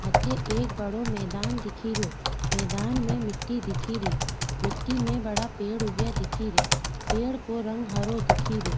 अठे एक बड़ो मैदान दिखेरयो मैदान में मिट्टी दिखेरी मिट्टी में बड़ा पेड़ उगया दिखे रिया पेड़ को रंग हरा दिखेरियो।